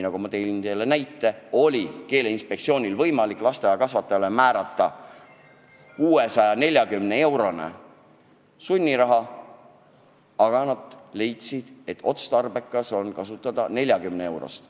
Nagu ma näiteks tõin, Keeleinspektsioonil oli võimalik lasteaiakasvataja kehva keeleoskuse eest määrata sunniraha 640 eurot, aga nad leidsid, et otstarbekas on nõuda 40 eurot.